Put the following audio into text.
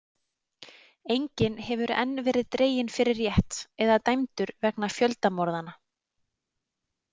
Enginn hefur enn verið dreginn fyrir rétt eða dæmdur vegna fjöldamorðanna.